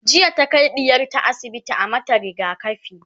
jiya ta Kai ɗiyarta asibiti a mata rigakafi